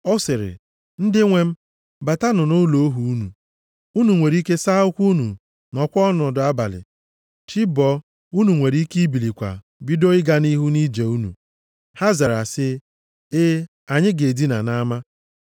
Ọ sịrị, “Ndị nwe m, batanụ nʼụlọ ohu unu. Unu nwere ike saa ụkwụ unu, nọọkwa ọnọdụ abalị. Chi bọọ, unu nwere ike ibilikwa bido ịga nʼihu nʼije unu.” Ha zara sị, “Ee, anyị ga-edina nʼama.”